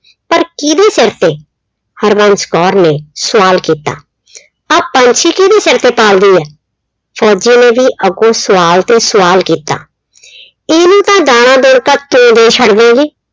ਪਰ ਕਿਹਦੇ ਸਿਰ ਤੇ, ਹਰਬੰਸ ਕੌਰ ਨੇ ਸਵਾਲ ਕੀਤਾ। ਆ ਪੰਛੀ ਕਿਹਦੇ ਸਿਰ ਤੇ ਪਲਦੇ ਆ? ਫੌਜੀ ਨੇ ਵੀ ਅੱਗੋਂ ਸਵਾਲ ਤੇ ਸਵਾਲ ਕੀਤਾ। ਇਹਨੂੰ ਤਾਂ ਦਾਣਾ ਦੇਣ ਤੱਕ ਛੱਡਦੇ।